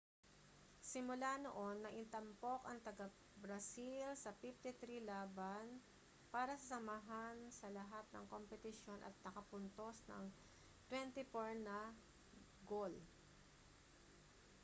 simula noon naitampok ang taga-brazil sa 53 laban para sa samahan sa lahat ng kompetisyon at nakapuntos ng 24 na gol